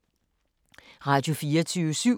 Radio24syv